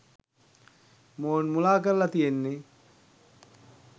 මොවුන් මුලා කරලා තියෙන්නේ.